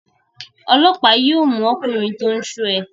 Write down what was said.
Ọlọ́pàá yóò mú ọkùnrin tó ń ṣọ́ ẹ.